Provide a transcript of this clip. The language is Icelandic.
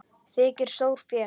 Þykir stórfé.